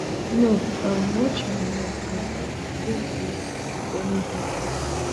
no um watch my life and um link me wit any bad case